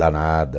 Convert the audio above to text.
Danada.